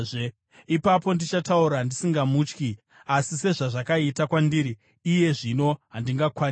Ipapo ndichataura ndisingamutyi, asi sezvazvakaita kwandiri iye zvino, handingakwanisi.